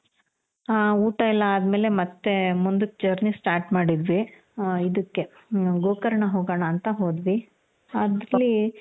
ಹಾ ಊಟ ಎಲ್ಲಾ ಆದ್ಮೇಲೆ ಮತ್ತೆ ಮುಂದುಕ್ಕೆ journey start ಮಾಡಿದ್ವಿ. ಇದುಕ್ಕೆ ಗೋಕರ್ಣ ಹೋಗಣ ಅಂತ ಹೋದ್ವಿ ಅಲ್ಲಿ